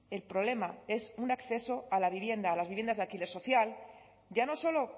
el problema es un acceso a la vivienda a las viviendas de alquiler social ya no solo